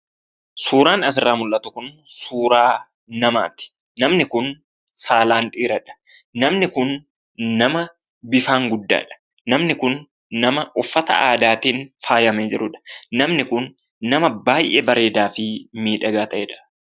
Suuraan asirraa mul'atu kun suuraa namaati, namni kun saalaan dhiiradha . Namni kun nama bifaan guddaadha. Namni kun nama uffata aadaatiin faayyamee jirudha. Namni kun nama baayyee bareedaafi miidhagaa ta'edha.